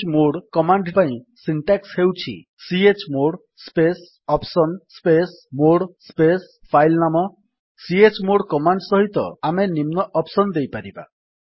chmod command ପାଇଁ syntax ହେଉଛି chmod space option space mode space file ନାମ chmod command ସହିତ ଆମେ ନିମ୍ନ ଅପ୍ସନ୍ସ ଦେଇପାରିବା